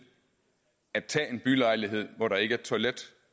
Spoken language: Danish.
at tage en bylejlighed hvor der ikke er toilet